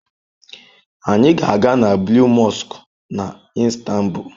Anyị ga-aga na Blue Mosque na Istanbul.